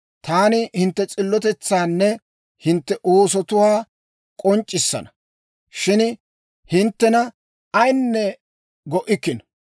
Taani hintte s'illotetsaanne hintte oosotuwaa k'onc'c'issana; shin hinttena ayinne go'ikkino.